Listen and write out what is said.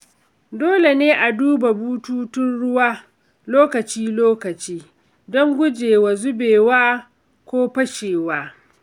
Dole ne a duba bututun ruwa lokaci-lokaci don gujewa zubewa ko fashewa.